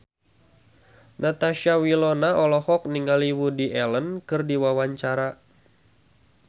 Natasha Wilona olohok ningali Woody Allen keur diwawancara